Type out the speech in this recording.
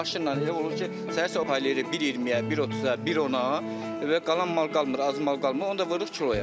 Bax maşınla elə olur ki, səhər sobalayırıq 1.20-yə, 1.30-a, 1.10-a və qalan mal qalmır, az mal qalmır, onda vururuq kiloya.